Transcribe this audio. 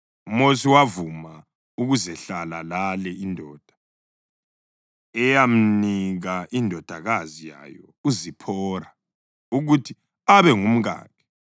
UMosi wavuma ukuzehlala lale indoda, eyamnika indodakazi yayo uZiphora ukuthi abe ngumkakhe.